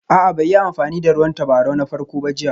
A'a bai yi amfani da ruwan tabarau na farko ba jiya